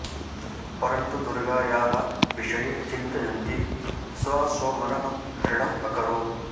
परन्तु दुर्गायाः विषये चिन्तयन्ती सा स्वमनः दृढम् अकरोत्